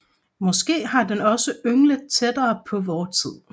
Måske har den også ynglet tættere på vor tid